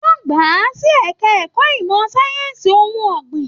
Wọn gbà a sì ẹka ẹ̀kọ́ ìmọ sáyẹnsì ohùn ọgbin.